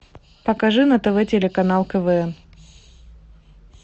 покажи на тв телеканал квн